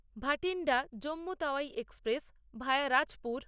Bathinda Jammu Tawi express via Rajpur